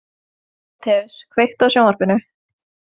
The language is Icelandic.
Tímóteus, kveiktu á sjónvarpinu.